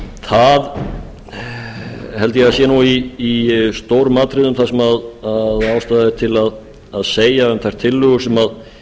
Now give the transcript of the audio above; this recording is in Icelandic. það held ég að sé í stórum atriðum það sem ástæða er til að segja um þær tillögur sem